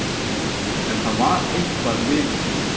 En það var eitthvað við